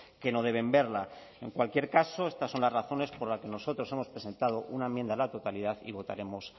que no deben verla en cualquier caso estas son las razones por las que nosotros hemos presentado una enmienda a la totalidad y votaremos